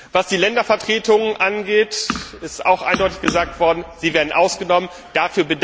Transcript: Was die Ländervertretungen angeht, ist auch eindeutig gesagt worden, dass sie ausgenommen werden.